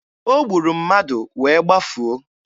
O gburu mmadụ wee gbafuo.